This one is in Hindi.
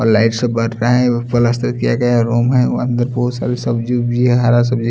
और लाइट सब बर रहा है और पलस्तर किया गया रूम है और अंदर बहुत सारी सब्जी वब्जी है हरा सब्जी।